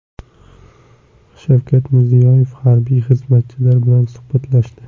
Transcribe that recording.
Shavkat Mirziyoyev harbiy xizmatchilar bilan suhbatlashdi.